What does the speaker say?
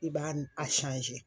I b'a a